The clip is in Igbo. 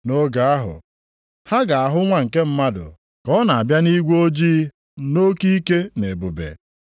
“Nʼoge ahụ, ha ga-ahụ Nwa nke Mmadụ, ka ọ na-abịa nʼigwe ojii nʼoke ike na ebube.